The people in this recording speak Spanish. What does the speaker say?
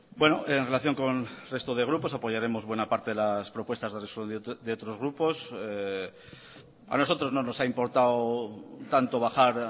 en relación con el resto de grupos apoyaremos buena parte de las propuestas de resolución de otros grupos a nosotros no nos ha importado tanto bajar